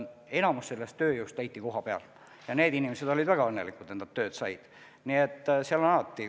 Enamik sellest tööjõust leiti kohapealt ja need inimesed olid väga õnnelikud, et nad tööd said.